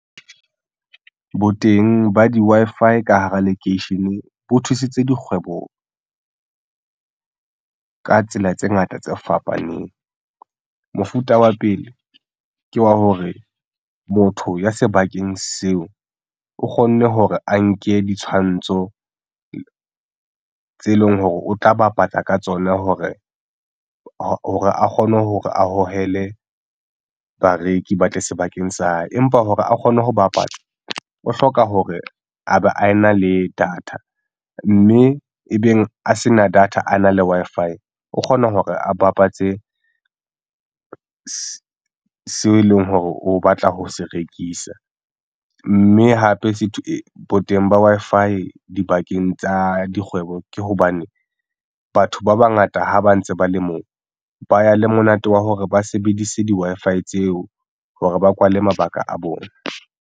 Bo teng ba di-Wi-Fi ka hara lekeishene bo thusitse dikgweboka tsela tse ngata tse fapaneng. Mofuta wa pele ke wa hore motho ya sebakeng seo o kgonne hore a nke ditshwantsho tse leng hore o tla bapatsa ka tsona hore a kgone hore a hohele bareki ba tle sebakeng sa, empa hore a kgone ho bapatsa o hloka hore a be a na le data mme e beng a se na data a na le Wi-Fi o kgona hore a bapatse seo e leng hore o batla ho se rekisa mme hape se boteng ba Wi-Fi dibakeng tsa dikgwebo ke hobane batho ba bangata ha ba ntse ba le moo ba ya le monate wa hore ba sebedise di-Wi-Fi tseo hore ba kwale mabaka a bona.